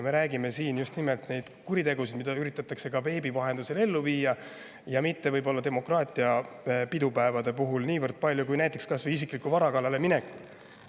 Me räägime siin just nimelt nendest kuritegudest, mida üritatakse veebi vahendusel ellu viia, võib-olla demokraatia pidupäeva puhul mitte niivõrd palju, kui näiteks kas või isikliku vara kallale mineku puhul.